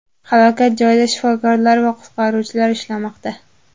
Halokat joyida shifokorlar va qutqaruvchilar ishlamoqda.